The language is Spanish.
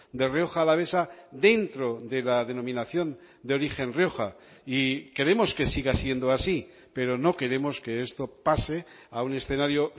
de rioja alavesa dentro de la denominación de origen rioja y queremos que siga siendo así pero no queremos que esto pase a un escenario